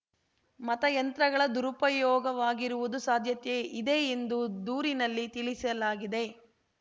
ಮತಯಂತ್ರಗಳ ದುರುಪಯೋಗವಾಗಿರುವುದು ಸಾಧ್ಯತೆ ಇದೆ ಎಂದು ದೂರಿನಲ್ಲಿ ತಿಳಿಸಲಾಗಿದೆ